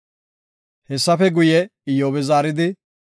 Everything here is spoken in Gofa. Hessafe guye Iyyobi zaaridi,